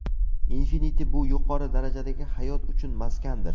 Infinity bu yuqori darajadagi hayot uchun maskandir.